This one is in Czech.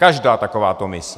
Každá takováto mise.